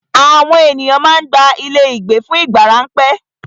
Àwọn ènìyàn má ń gba ilé ìgbé fún ìgbà ráńpẹ́.